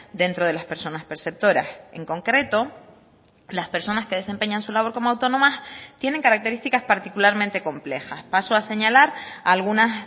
dentro de las personas perceptoras en concreto las personas que desempeñan su labor como autónomas tienen características particularmente complejas paso a señalar algunas